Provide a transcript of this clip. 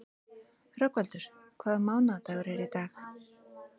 Rögnvaldur, hvaða mánaðardagur er í dag?